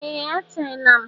Ee! A teela m.